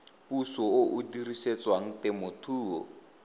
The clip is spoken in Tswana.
puso o o dirisetswang temothuo